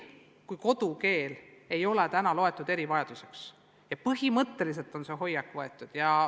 Kodukeelt ei ole loeta erivajaduseks – põhimõtteliselt on see hoiak võetud.